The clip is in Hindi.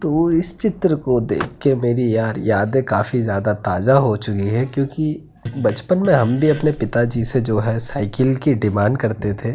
तो इस चित्र को देखके मेरी यार यादे काफी ज्यादा ताजा हो चुकी है क्यूंकि बचपन में हम भी अपने पिताजी से जो है साइकिल की डिमांड करते थे।